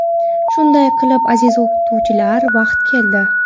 Shunday qilib aziz o‘qituvchilar vaqt keldi.